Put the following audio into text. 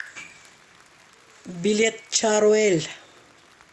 билет чаруэль